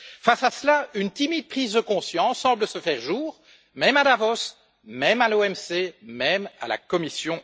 Face à cela, une timide prise de conscience semble se faire jour, même à Davos, même à l'OMC et même à la Commission.